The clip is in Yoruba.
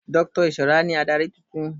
Dr Ishola ni adarí tuntun